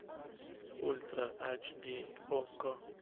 ультра ач ди окко